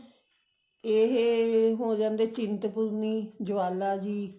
ਇਹ ਹੋ ਜਾਂਦੇ ਚਿੰਤਪੂਰਣੀ ਜਵਾਲਾ ਜੀ